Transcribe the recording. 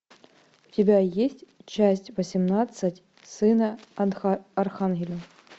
у тебя есть часть восемнадцать сына архангела